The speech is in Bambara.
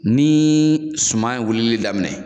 Ni suman ye wilili daminɛ